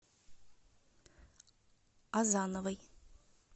азановой